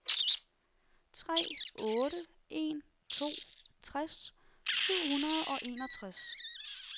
tre otte en to tres syv hundrede og enogtres